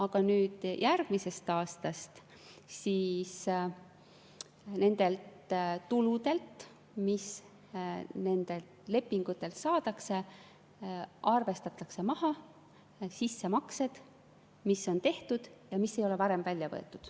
Aga nüüd järgmisest aastast nendelt tuludelt, mis nendelt lepingutelt saadakse, arvestatakse maha sissemaksed, mis on tehtud ja mis ei ole varem välja võetud.